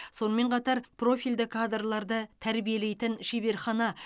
сонымен қатар профильді кадрларды тәрбиелейтін шеберхана